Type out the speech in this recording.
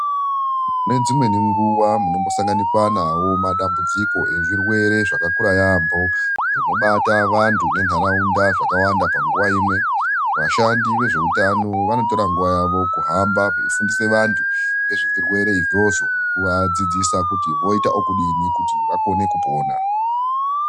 Nedzimweni nguva munombosanganikwa nawo madambudziko ezvirwere zvakakura yaambo zvinobata vantu nentaraunda zvakawanda panguva imwe. Vashandi vezveutatano vanotora nguva yavo kuhamba veifundisa vantu, ngezvezvirwere izvozvo nekuvadzidzisa kuti voita okudini kuti vakone kupona.